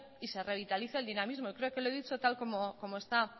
y se revitalice el dinamismo y creo que lo he dicho tal como está